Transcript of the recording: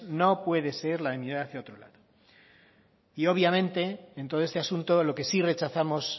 no puede ser la de mirar hacia otro lado y obviamente en todo este asunto lo que sí rechazamos